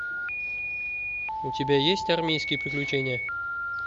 у тебя есть армейские приключения